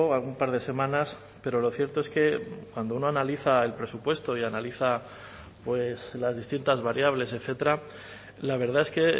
algún par de semanas pero lo cierto es que cuando uno analiza el presupuesto y analiza pues las distintas variables etcétera la verdad es que